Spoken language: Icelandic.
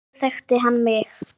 Þá þekkti hann mig